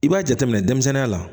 I b'a jateminɛ denmisɛnninya la